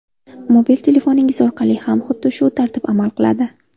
Mobil telefoningiz orqali ham xuddi shu tartib amal qiladi.